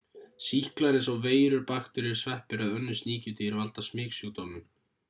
sýklar eins og veirur bakteríur sveppir eða önnur sníkjudýr valda smitsjúkdómum